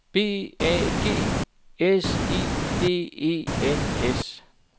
B A G S I D E N S